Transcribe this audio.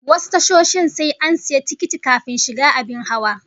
Wasu tashoshin sai an sayi tikiti kafin shiga abin hawa